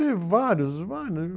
Tem vários, vários.